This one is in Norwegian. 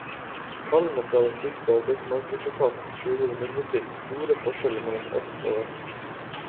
Tallene fra den tyske arbeidsmarkedsetaten skjuler imidlertid store forskjeller mellom øst og vest.